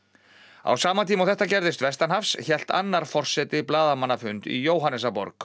á sama tíma og þetta gerðist vestanhafs hélt annar forseti blaðamannafund í Jóhannesarborg